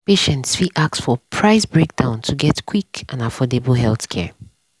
patients fit ask for price breakdown to get quick and affordable healthcare.